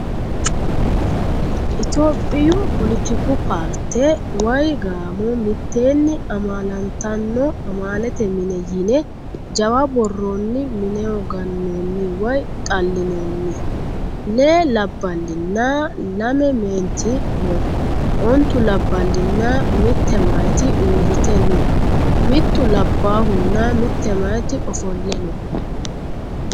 Itiyoophiyu polotiku paarte woyi gaamo mitteenni amaala tanno amaalete mine yine jawa borronni mineho gannonni woyi xallinoonni. Lee labballinna lame meenti no. Ontu labballinna mitte mayiiti uurrite no. Mittu labbaahunna mitte mayiiti ofolle no.